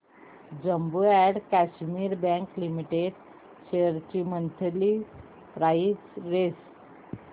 Jammu and Kashmir bank limited shares ची monthly price range